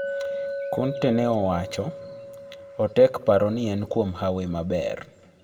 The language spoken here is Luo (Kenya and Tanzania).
Conte ne owacho: Otek paro ni en kuom hawi maber